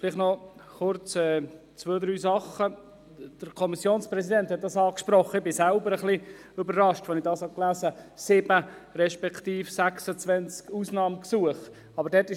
Ich war selber überrascht, als ich von diesen 7 beziehungsweise 26 Ausnahmegesuchen gelesen habe.